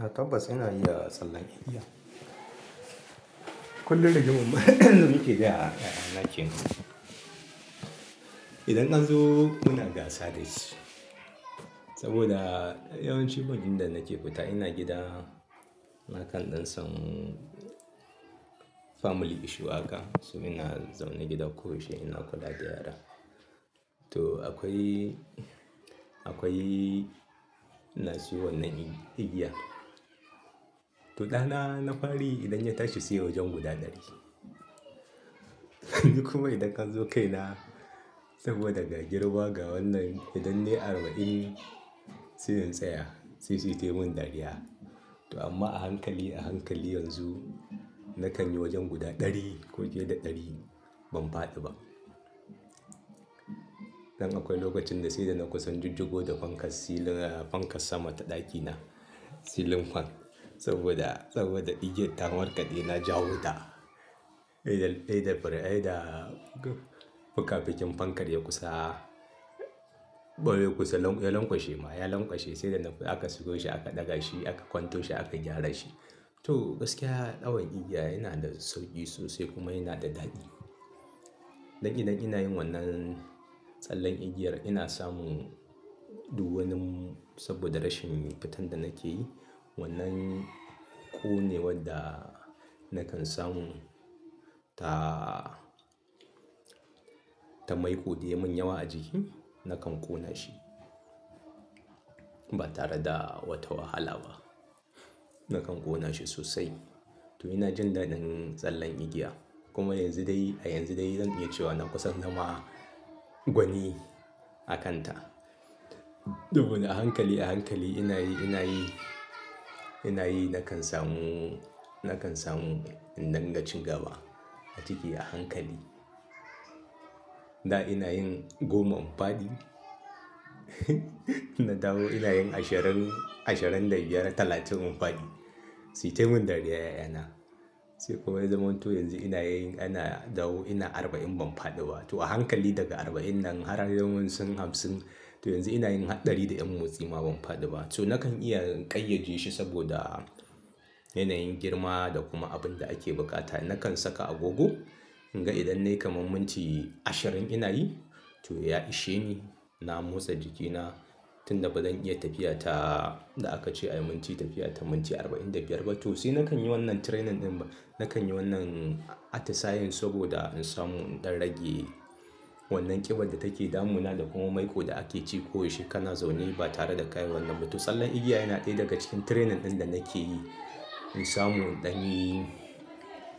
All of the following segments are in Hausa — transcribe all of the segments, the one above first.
A topaz ina iya tsallan igiya. Kullum da gimmu muke biya a ƴa'ƴana ke. Idan zan zo kuna gasa da shi saboda yawanci bajin da nake fita ina gida. Na kan ɗan sam family issue haka. So ina zaune gida koyaushe ina kula da yara. To akwai, akwai ina siyo wannan igiya. Kullum da gimmu muke biya a ƴa'ƴana ke. Kuma idan zan zo kai na saboda daga girma ga wannan idan ne arba'in siyan tsaya sai sai mun dariya. To amma a hankali, a hankali yanzu na kan yi wajen guda ɗari ko je da ɗari ban faɗi ba. Dan akwai lokacin da sai da na kusan jijjigo da fankar silin-- fankar sama ta ɗakina. Ceiling fan saboda, saboda igiyar ta warkaɗe na ja wuta. Ɗaya da, ɗaya da, ɗaya da fuka-fukin fankar ya kusa, babu kusa ya lankwashe ma, ya lankwashe sai da aka siyo shi aka ɗaga shi aka kwanto shi aka gyara shi. To gaskiya ɗawan igiya yana da sauki sosai kuma yana da daɗi. Dan idan ina yin wannan tsallan igiyar ina samun doguwanin saboda rashin fitan da nake yi. Wannan ƙone wadda na kan samu ta, ta maiƙo da yawan yawa a jiki na kan ƙona shi ba tare da wata wahala ba. Na kan ƙona shi sosai. To ina jin daɗin tsallan igiya kuma yanzu dai, a yanzu dai zan iya cewa na kusan na ma gwani a kanta. Dubu a hankali a hankali ina yi, ina yi, ina yi na kan samu, na kan samu idan na ci gaba a ciki a hankali. Da ina yin goma in fadi na dawo ina yin ashirin, ashirin da biyar da talatin fesharin siite mun dariya ƴa'ƴana. Sai kuma ya zamanto yanzu ina yin-- ina dawo ina arba'in ban faɗi ba. To a hankali daga arba'in nan har har zuwa hamsin. To yanzu ina yin ɗari da ƴan motsi ma ban faɗi ba. To na kan iya ƙayyade shi saboda yanayin girma da kuma abin da ake buƙata. Na kan saka agogo in ga idan ne kamar minti ashirin ina yi to ya ishe ni. Na motsa jikina tun da ba zan iya tafiya ta da aka ce ayi mun tafiya ta mun ci arba'in da biyar ba. To sai na kan yi wannan training ɗin ba. Na kan yi wannan atisayen saboda in samu in rage wannan ƙiban da take damu na da kuma maiƙo da ake ci koyaushe kana zaune ba tare da kayi wannan ba. To tsallan igiya yana ɗaya daga cikin training ɗin da nake yi in samu ɗan yi,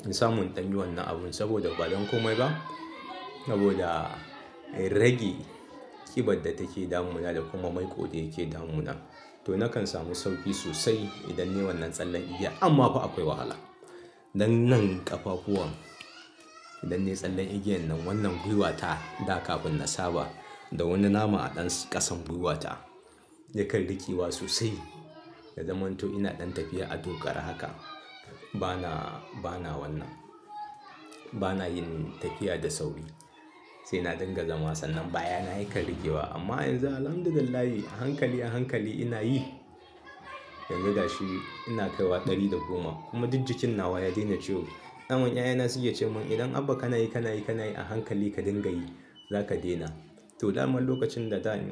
in samu ɗan yi wannan abun saboda ba dan komai ba saboda in rage ƙiban da take damu na da kuma maiƙo da yake damu na. To na kan samu sauƙi sosai idan ne wannan tsallan igiya. Amma kuwa akwai wahala. Dan nan ƙafafuwan idan ne tsallan igiyan nan wannan gwiwata da kafin na saba da wannan nama a ɗan ƙasan gwiwata yakan rikewa sosai. Da zamanto ina ɗan tafiya a dokara haka. Ba na, ba na wannan. Ba na yin tafiya da sauƙi. Sai na dinga zaman tsanan baya na yakan rikewa. Amma yanzu Alhamdulillah a hankali a hankali ina yi. Dan gaba shi ina kaiwa ɗari da goma kuma duk jikin nawa ya daina ciwo. Ɗan man ƴa'ƴana suke cewa mun idan Abba kana yi, kana yi, kana yi a hankali ka dinga yi za ka daina. To daman lokacin da za ni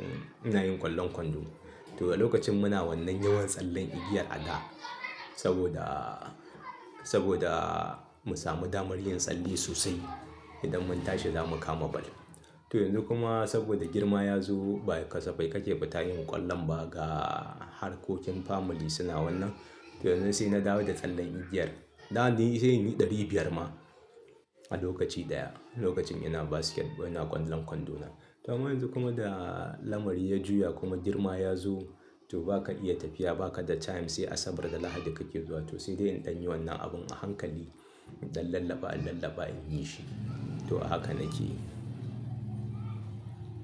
ina yin ƙwallon kwando. To da lokacin muna wannan yawan tsallan igiyar a da saboda, saboda mu sami damar yin tsalle sosai idan mun tashi zamu kama ball. To yanzu kuma saboda girma ya zo bai kasafai ka ce ba tayi mun ƙwallon ba ga harkokin family suna wannan. To yanzu sai na dawo da tsallan igiyar. Da an yi sai mun yi ɗari biyar ma a lokaci ɗaya. Lokacin ina basket, ina ƙwallon kwando na. To amma yanzu kuma da lamari ya juya kuma girma ya zo to ba ka iya tafiya ba ka da time sai Asabar da Lahadi kake zuwa. To sai dai in ɗan yi wannan abun a hankali don lallaba lallaba in yi shi. To haka nake yi.